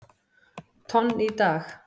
tonn í dag.